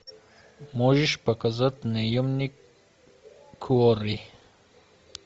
можешь показать наемник куорри